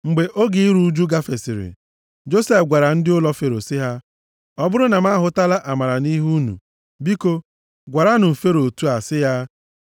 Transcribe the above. Mgbe oge iru ụjụ gafesịrị, Josef gwara ndị ụlọ Fero sị ha, “Ọ bụrụ na m ahụtala amara nʼihu unu, biko, gwaranụ m Fero otu a, sị ya,